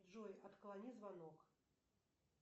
джой отклони звонок